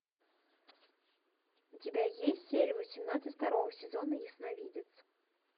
у тебя есть серия восемнадцать второго сезона ясновидец